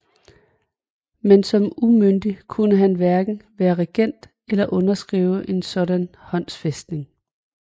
Men som umyndig kunne han hverken være regent eller underskrive en sådan håndfæstning